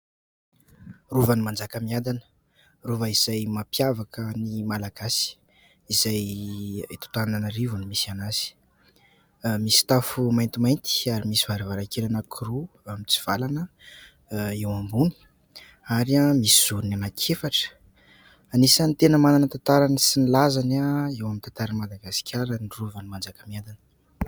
Rovan'i Manjakamiadana, rova izay mampiavaka ny malagasy, izay eto Antananarivo no misy azy. Misy tafo maintimainty ary misy varavarankely anankiroa mitsivalana eo ambony ary misy zorony anankiefatra. Anisan'ny tena manana ny tantarany sy ny lazany eo amin'ny tantaran'i Madagasikara ny rovan'i Manjakamiadana.